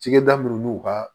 Cɛkɛda minnu n'u ka